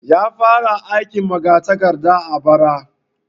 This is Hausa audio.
Ya fara aikin magatakarda bara